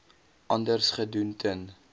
anders gedoen ten